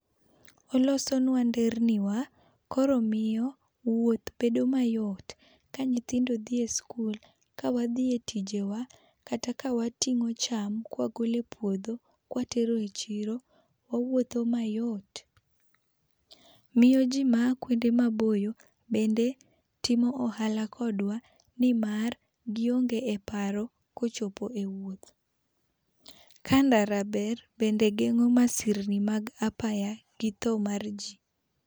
Olosonwa nderni wa, koro omiyo wuoth bedo ma yot ka nyithindo dhi skul kata ka wadhi e tije wa, kata ka wating'o cham ka wagolo e puodho ka watero e chiro wawuotho mayot ,miyo ji ma yaa kuonde maboyo timo ohala kodwa ni mar gi onge e paro ko ochopo e wuoth. Ka ndara ber bende geng'o masirni mag apaya gi tho mar ji.